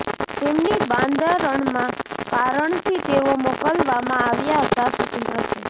તેમની બંધારણમાં કારણથી તેઓ મોકલવામાં આવ્યા હતા સ્વતંત્ર છે